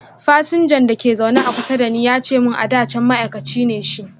fasinjan da ke a zaune kusa da ni ya ce mun ada can ma'aikaci me shi.